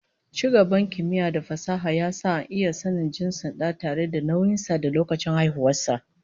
Ci gaban kimiyya da fasaha ya sa ana iya sanin jinsin dan tayi da nauyin sa da lokacin haihuwar sa